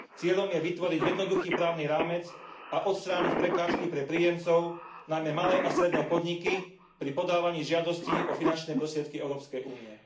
Cieľom je vytvoriť jednoduchý právny rámec a odstrániť prekážky pre príjemcov, najmä malé a stredné podniky, pri podávaní žiadostí o finančné prostriedky Európskej únie.